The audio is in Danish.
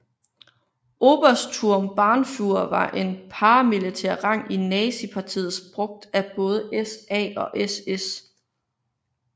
Obersturmbannführer var en paramilitær rang i Nazistpartiet brugt af både SA og SS